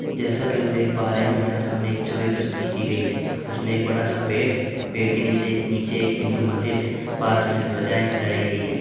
जैसा कि हम देख पा रहे हैं हमारे सामने एक छवि प्रस्तुत की गई है उसमें एक बड़ा-सा पेड़ है पेड़ के नीचे नीचे एक हिंदू मंदिर है पास में ध्वजाएँ फहराई गई हैं।